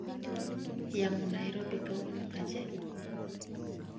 yamo Nairobi kawuono aje